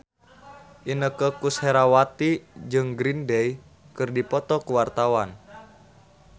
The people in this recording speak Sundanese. Inneke Koesherawati jeung Green Day keur dipoto ku wartawan